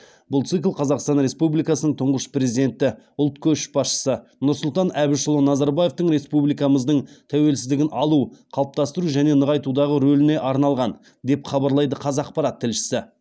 бұл цикл қазақстан республикасының тұңғыш президенті ұлт көшбасшысы нұрсұлтан әбішұлы назарбаевтың республикамыздың тәуелсіздігін алу қалыптастыру және нығайтудағы рөліне арналған деп хабарлайды қазақпарат тілшісі